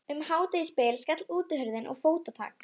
Um hádegisbil skall útihurðin og fótatak